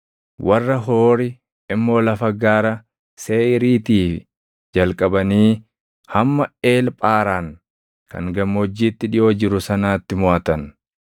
warra Hoori immoo lafa gaara Seeʼiiriitii jalqabanii hamma Eel Phaaraan kan gammoojjiitti dhiʼoo jiru sanaatti moʼatan.